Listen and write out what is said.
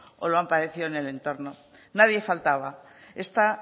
o lo han padecido en el entorno nadie faltaba esta